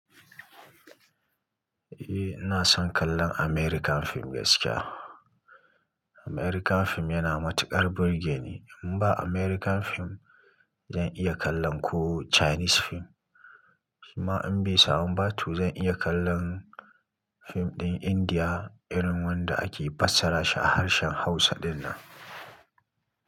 Eh, ina son kallon American film gaskiya. American film yana matuƙar burge ni. In ba American film, zan iya kallon ko Chinese film. Shima in bai samu ba tu zan iya kallon fim ɗin Indiya irin wanda ake fassara shi a harshen Hausa dinnan.